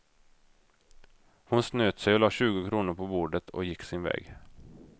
Hon snöt sig och la tjugo kronor på bordet och gick sin väg.